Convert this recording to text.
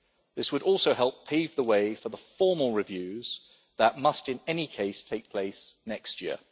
This would also help pave the way for the formal reviews that must in any case take place next year.